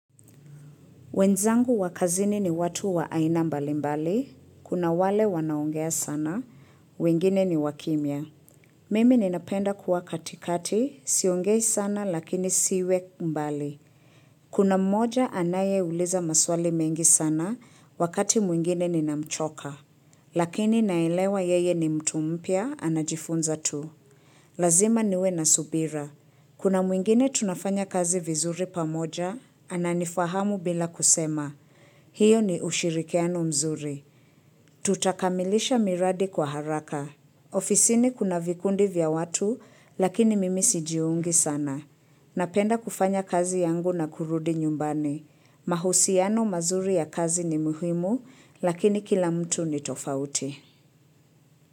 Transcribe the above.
Wenzangu wa kazini ni watu wa aina mbali mbali. Kuna wale wanaongea sana. Wengine ni wa kimia. Mimi ninapenda kuwa katikati. Siongei sana lakini siwe mbali. Kuna mmoja anaye uliza maswali mengi sana wakati mwingine ninamchoka. Lakini naelewa yeye ni mtu mpya anajifunza tu. Lazima niwe na subira. Kuna mwingine tunafanya kazi vizuri pamoja, ananifahamu bila kusema. Hiyo ni ushirikiano mzuri. Tutakamilisha miradi kwa haraka. Ofisi ni kuna vikundi vya watu, lakini mimi sijiungi sana. Napenda kufanya kazi yangu na kurudi nyumbani. Mahusiano mazuri ya kazi ni muhimu, lakini kila mtu ni tofauti.